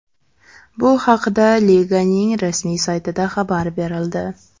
Bu haqda liganing rasmiy saytida xabar berildi .